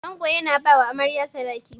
Ango yana bawa Amarya Sadaki.